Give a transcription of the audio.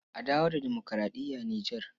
A dawo da demokuraɗiya a Nijar.